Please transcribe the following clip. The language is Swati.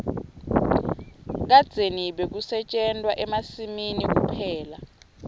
kadzeni bekusetjentwa emasimini kuphela